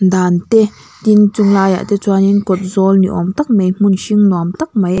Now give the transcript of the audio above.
dan te tin chung laiah te chuanin kawtzawl ni awm tak mai hmun hring nuam tak mai.